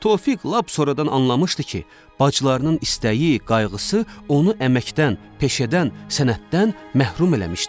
Tofiq lap sonradan anlamışdı ki, bacılarının istəyi, qayğısı onu əməkdən, peşədən, sənətdən məhrum eləmişdi.